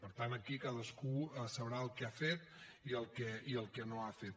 per tant aquí cadascú sabrà el que ha fet i el que no ha fet